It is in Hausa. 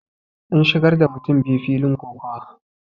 an shigar da mutum biyu filin kokawa